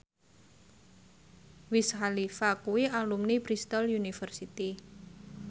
Wiz Khalifa kuwi alumni Bristol university